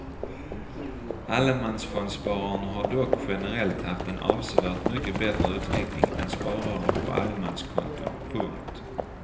Allemansfondspararna har dock generellt haft en avsevärt mycket bättre utveckling än sparare på allemanskonton. punkt